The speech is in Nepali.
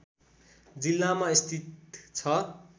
जिलामा स्थित छ